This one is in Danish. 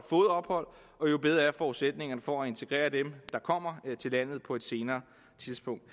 og jo bedre er forudsætningerne for at integrere dem der kommer til landet på et senere tidspunkt